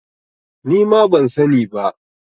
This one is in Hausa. Nima ban sani ba.